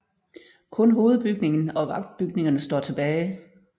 Kun hovedbygningen og vagtbygningerne står tilbage